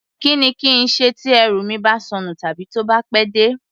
Kí ni kí n ṣe tí ẹrù mi bá sọnù tàbí tó bá pẹ́ dé?